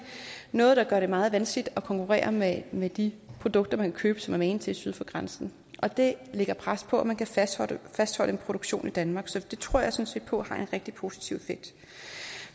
noget der gør det meget vanskeligt at konkurrere med med de produkter man kan købe som er magen til syd for grænsen og det lægger pres på at man kan fastholde en produktion i danmark så det tror jeg sådan set på har en rigtig positiv effekt